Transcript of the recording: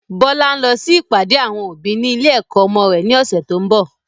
Bọlá ń lọ sí ìpàdé àwọn òbí ni ilé ẹ̀kọ́ ọmọ rẹ̀ ni ọ̀sẹ̀ tó ń bọ̀